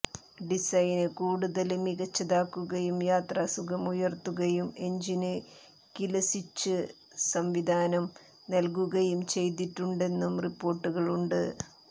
ഡിസൈന് കൂടുതല് മികച്ചതാക്കുകയും യാത്രാസുഖം ഉയര്ത്തുകയും എന്ജിന് കില് സ്വിച്ച് സംവിധാനം നല്കുകയും ചെയ്തിട്ടുണ്ടെന്നും റിപ്പോർട്ടുകളുണ്ട്